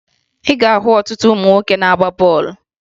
Ị ga-ahụ ọtụtụ ụmụ nwoke na-agba bọọlụ